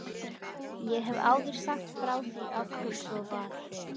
Ég hef áður sagt frá því af hverju svo var.